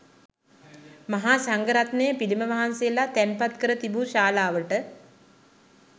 මහාසංඝ රත්නය පිළිම වහන්සේලා තැන්පත්කර තිබු ශාලාවට